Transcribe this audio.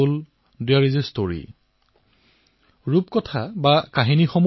যতেই আত্মা আছে তাতেই সাধু আছে